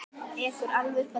Ekur alveg upp að dyrum.